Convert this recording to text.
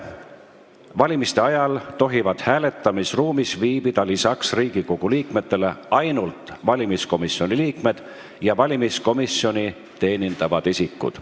Valimiste ajal tohivad hääletamisruumis viibida lisaks Riigikogu liikmetele ainult valimiskomisjoni liikmed ja valimiskomisjoni teenindavad isikud.